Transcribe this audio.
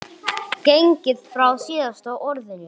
gengið frá SÍÐASTA ORÐINU.